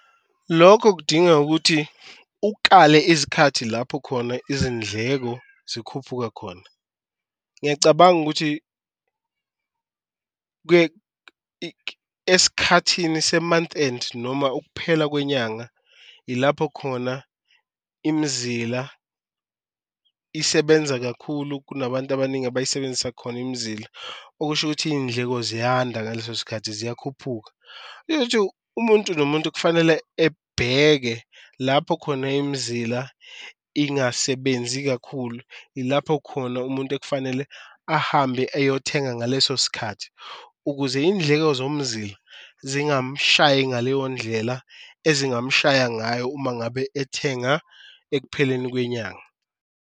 Lokho kudinga ukuthi ukale izikhathi lapho khona izindleko zikhuphuka khona, ngiyacabanga ukuthi esikhathini se-month end noma ukuphela kwenyanga ilapho khona imzila isebenza kakhulu, kunabantu abaningi abayisebenzisa khona imizila. Okusho ukuthi iy'ndleko ziyanda ngaleso sikhathi ziyakhuphuka umuntu nomuntu kufanele ebheke lapho khona imizila ingasebenzi kakhulu, ilapho khona umuntu ekufanele ahambe eyothenga ngaleso sikhathi. Ukuze indleko zomzila zingamshayi ngaleyo ndlela ezingamshaya ngayo uma ngabe ethenga ekupheleni kwenyanga.